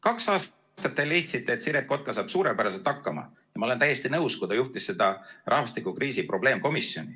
Kaks aastat te leidsite, et Siret Kotka saab suurepäraselt hakkama – ma olen täiesti nõus –, kui ta juhtis seda rahvastikukriisi probleemkomisjoni.